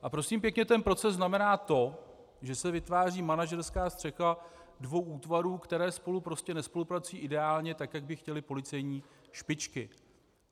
A prosím pěkně, ten proces znamená to, že se vytváří manažerská střecha dvou útvarů, které spolu prostě nespolupracují ideálně tak, jak by chtěly policejní špičky.